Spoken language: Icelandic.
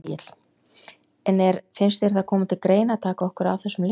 Egill: En er, finnst þér það koma til greina að taka okkur af þessum lista?